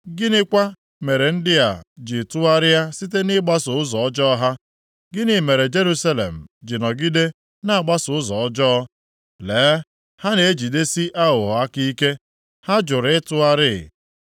Gịnịkwa mere ndị a ji tụgharịa site nʼịgbaso ụzọ ọjọọ ha? Gịnị mere Jerusalem ji nọgide na-agbaso ụzọ ọjọọ? Lee, ha na-ejidesi aghụghọ aka ike; ha jụrụ ịtụgharị.